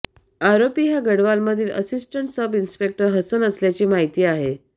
आरोपी हा गढवालमधील असिस्टंट सब इन्स्पेक्टर हसन असल्याची माहिती आहे